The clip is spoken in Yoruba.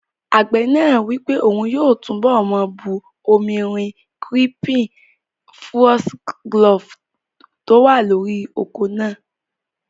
Àgbẹ̀ náà wí pé òun yóò túnbọ̀ máa bu omi rin kírípìn fúọ́sígílófù tó wà lórí oko náà